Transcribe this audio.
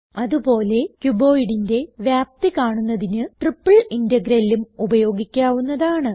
അത് പോലെ cuboidന്റെ വ്യാപ്തി കാണുന്നതിന് ട്രിപ്പിൾ integralഉം ഉപയോഗിക്കാവുന്നതാണ്